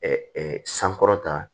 sankɔrɔta